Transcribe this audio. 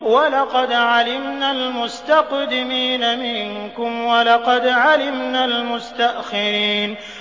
وَلَقَدْ عَلِمْنَا الْمُسْتَقْدِمِينَ مِنكُمْ وَلَقَدْ عَلِمْنَا الْمُسْتَأْخِرِينَ